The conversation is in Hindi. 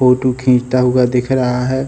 फोटु खिचता हुआ दिख रहा है।